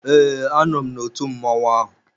Ee, a nọ m na otu mmọnwụ ahụ.